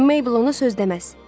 Meybl ona söz deməz.